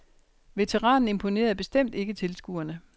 Veteranen imponerende bestemt ikke tilskuerne.